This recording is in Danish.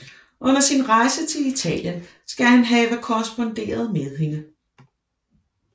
Under sin rejse til Italien skal han have korresponderet med hende